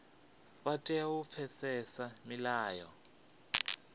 vha tea u pfesesa milayo